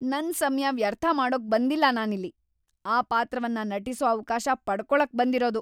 ನನ್ ಸಮಯ ವ್ಯರ್ಥ ಮಾಡೋಕ್ ಬಂದಿಲ್ಲ ನಾನಿಲ್ಲಿ! ಈ ಪಾತ್ರವನ್ನ ನಟಿಸೋ ಅವ್ಕಾಶ ಪಡ್ಕೊಳಕ್‌ ಬಂದಿರೋದು.